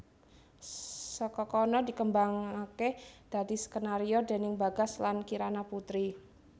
Saka kono dikembangake dadi skenario déning Bagas lan Kirana Putri